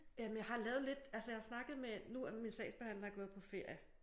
Jamen jeg har lavet lidt altså jeg har snakket med nu er min sagsbehandler gået på ferie